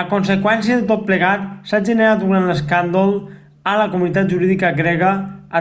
a conseqüència de tot plegat s'ha generat un gran escàndol a la comunitat jurídica grega